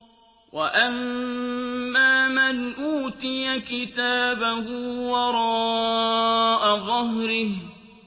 وَأَمَّا مَنْ أُوتِيَ كِتَابَهُ وَرَاءَ ظَهْرِهِ